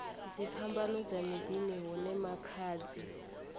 dziphambano dza miḓini hune makhadzi